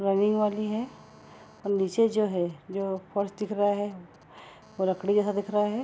Rolling वाली है और एक नीचे जो है जो फर्स दिख रहा है वो लकड़ी जैसा दिख रहा है ।